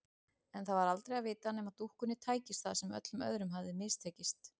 En það var aldrei að vita nema dúkkunni tækist það sem öllum öðrum hafði mistekist.